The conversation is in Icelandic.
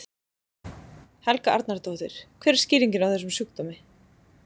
Helga Arnardóttir: Hver er skýringin á þessum sjúkdómi?